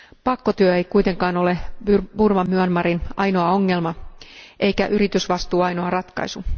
Pakkotyö ei kuitenkaan ole Burman Myanmarin ainoa ongelma eikä yritysvastuu ainoa ratkaisu.